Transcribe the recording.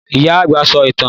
Ìyá-àgbà ń sọ ìtàn.